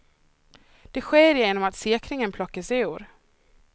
Det sker genom att säkringen plockas ur.